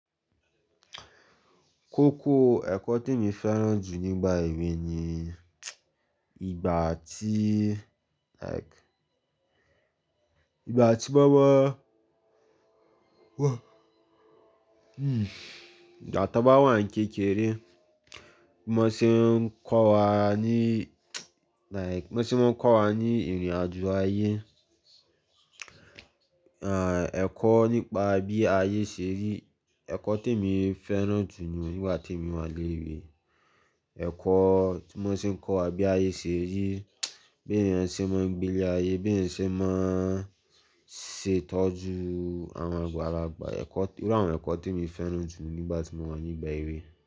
Kókó ẹ̀kọ́ tí mo fẹ́ràn jù nígbà èwe ni ìgbà tí like ìgbà tí mo wà hmm ìgbà tí mo wà ní kékeré, mo ṣe ń kọ́ wa ní like mo ṣe ń kọ́ wa ní ìrìnàjò ayé. Ah ẹ̀kọ́ nípa bí ayé ṣe rí, ẹ̀kọ́ tí mo fẹ́ràn jù ni nígbà tí mo wà léwe, ẹ̀kọ́ tí wọ́n ṣe ń kọ́ wa bí ayé ṣe rí, bí ènìyàn ṣe ń máa gbilé ayé, bí ènìyàn ṣe ń máa ṣe ìtọ́jú àwọn àgbàlagbà, ẹ̀kọ́-- irú àwọn ẹ̀kọ́ tí mo fẹ́ràn jù nígbà tí mo wà nígbà èwe.